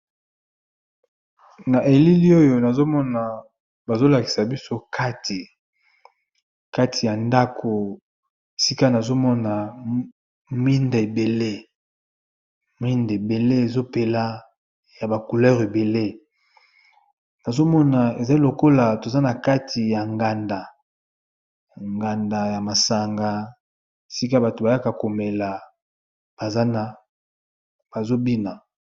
Na elili oyo nazomona bazolakisa biso ktikati ya ndako sika nazomona mwinda ebele ezopela ya ba couleur ebele nazomona eza lokola toza na kati ya nganda nganda ya masanga sika bato bayaka komela bazobina